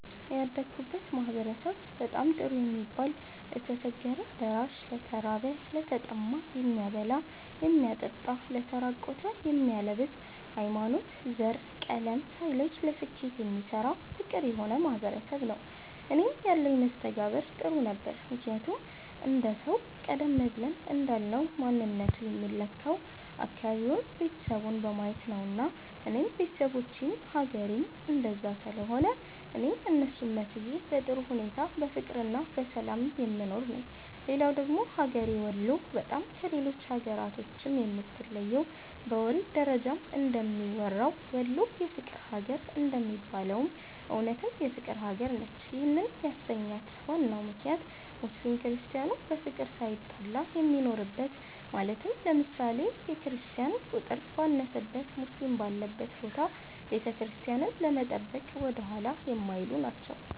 ያደግሁበት ማህበረሰብ በጣም ጥሩ የሚባል ለተቸገረ ደራሽ፣ ለተራበ፣ ለተጠማ የሚያበላ የሚያጠጣ ለተራቆቱ የሚያለብስ፣ ሀይማኖት፣ ዘር፣ ቀለም ሳይለይ ለስኬት የሚሰራ ፍቅር የሆነ ማህበረሰብ ነዉ። እኔም ያለኝ መስተጋብር ጥሩ ነበረ ምክንያቱም አንድ ሰዉ ቀደም ብለን እንዳልነዉ ማንነቱ የሚለካዉ አካባቢዉን፣ ቤተሰቡን በማየት ነዉና እኔም ቤተሰቦቼም ሀገሬዉም እንደዛ ስለሆነ እኔም እነሱን መስዬ በጥሩ ሁኔታ በፍቅርና በሰላም የምኖር ነኝ። ሌላዉ ደግሞ ሀገሬ ወሎ በጣም ከሌሎች ሀገራቶችም የምትለየዉ በወሬ ደረጃም እንደሚወራዉ "ወሎ የፍቅር ሀገር" እንደሚባለዉም እዉነትም የፍቅር ሀገር ነች ይህንም ያሰኛት ዋናው ምክንያት ሙስሊም ክርስቲያኑ በፍቅር ሳይጣላ የሚኖርበት ማለትም ለምሳሌ፦ የክርስቲያን ቁጥር ባነሰበት ሙስሊም ባለበት ቦታ ቤተክርስቲያንን ለመጠበቅ ወደኋላ የማይሉ ናቸዉ።